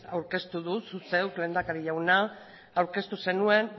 aurkeztu du zuk zeuk lehendakari jauna